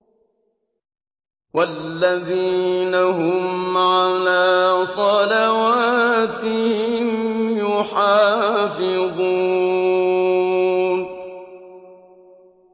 وَالَّذِينَ هُمْ عَلَىٰ صَلَوَاتِهِمْ يُحَافِظُونَ